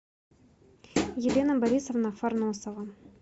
елена борисовна фарносова